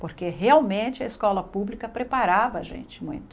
porque realmente a escola pública preparava a gente muito.